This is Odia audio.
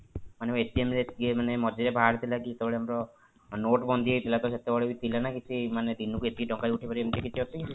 ମାନେ ରେ ଏତିକି ମାନେ ମଝିରେ ବାହାରିଥିଲା କି ଯେତେବେଳେ ଆମର note ବନ୍ଦୀ ହେଇଥିଲା ତ ସେତେବେଳେ ଥିଲା ନା କିଛି ମାନେ ଦିନକୁ ଏତିକି ଟଙ୍କା ଉଠେଇପାରିବେ ଏମିତି କିଛି ଅଛି କି system